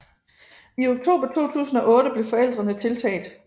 I oktober 2008 blev forældrene tiltalt